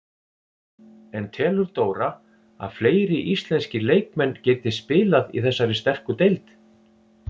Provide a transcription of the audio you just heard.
En telur Dóra að fleiri íslenskir leikmenn geti spilað í þessari sterku deild?